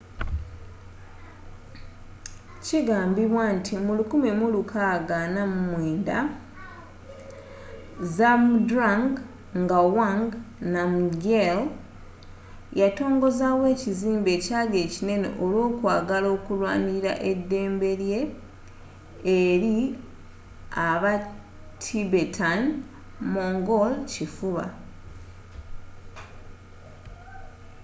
kigambibwa nti mu 1649 zhabdrung ngawang namgyel yatongozawo ekizimbe ekyali ekinene olwo kwagala okulwanilila edembelye eli aba tibetan-mongol kifuba